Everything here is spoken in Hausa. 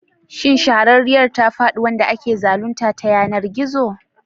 Shin shahararriyar ta faɗi wanda ake zalunta ta yanar gizo?